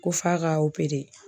Ko f'a ka